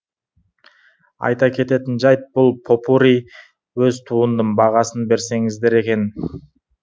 айта кететін жайт бұл попурри өз туындым бағасын берсеңіздер екен